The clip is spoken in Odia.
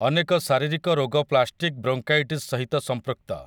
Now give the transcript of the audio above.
ଅନେକ ଶାରୀରିକ ରୋଗ ପ୍ଲାଷ୍ଟିକ୍ ବ୍ରୋଙ୍କାଇଟିସ୍ ସହିତ ସମ୍ପୃକ୍ତ ।